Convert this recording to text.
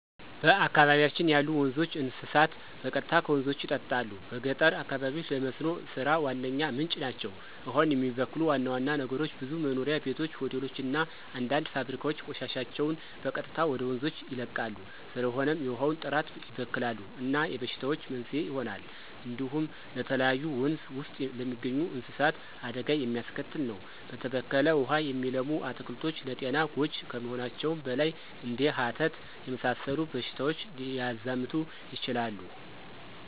በአካባቢያችን ያሉ ወንዞች፣ እንስሳት በቀጥታ ከወንዞች ይጠጣሉ። በገጠር አካባቢዎች ለመስኖ ሥራ ዋነኛ ምንጭ ናቸው። ውሃውን የሚበክሉ ዋና ዋና ነገሮች ብዙ መኖሪያ ቤቶች፣ ሆቴሎች እና አንዳንድ ፋብሪካዎች ቆሻሻቸውን በቀጥታ ወደ ወንዞች ይለቃሉ። ስለሆነም የውሃውን ጥራት ይበክላሉ እና የበሽታዎች መንስኤ ይሆናሉ። እንዲሁም ለተለያዩ ወንዝ ውስጥ ለሚገኙ እንስሳት አደጋ የሚያስከትል ነው። በተበከለ ውሃ የሚለሙ አትክልቶች ለጤና ጎጅ ከመሆናቸውም በላይ እንደ ሀተት የመሰሉ በሽታዎች ሊያዛምቱ ይችላሉ።